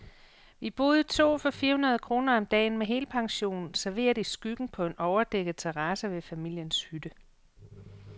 Vi boede to for fire hundrede kroner om dagen, med helpension, serveret i skyggen på en overdækket terrasse ved familiens hytte.